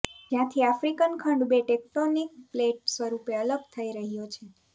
જ્યાંથી આફ્રિકન ખંડ બે ટેકટોનિક પ્લેટ સ્વરૂપે અલગ થઇ રહ્યો છે